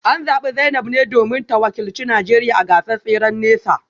An zabi Zainab ne domin ta wakilci Najeriya a gasar tseren nesa